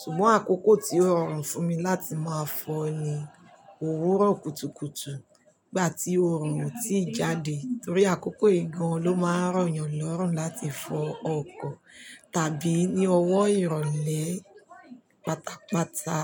ṣùgbọ́n àkókò tí ó rọrùn fún mi láti máa fọ ni òwúrọ̀ kùtùkùtù nígbà tí òòrùn oo tíì jáde. Nítorí àkókò yii gan ló máa ń rọ̀yàn lọ́rùn láti fọ ọkọ̀ tàbí ní ọwọ́ ìrọ̀lẹ́ pátápátá.